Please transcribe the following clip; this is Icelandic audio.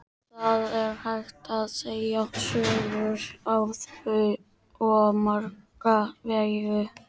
Það er hægt að segja sögur á svo marga vegu.